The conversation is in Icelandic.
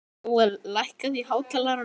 Jóel, lækkaðu í hátalaranum.